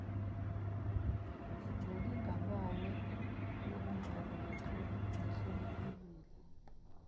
nelinganayo yobungane nehloniphekile